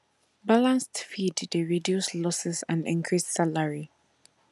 balanced feed dey reduce losses and increase salary